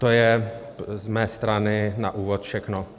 To je z mé strany na úvod všechno.